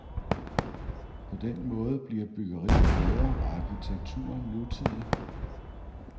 På den måde bliver byggeriet bedre og arkitekturen nutidig.